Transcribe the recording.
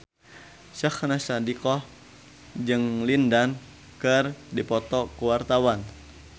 Syahnaz Sadiqah jeung Lin Dan keur dipoto ku wartawan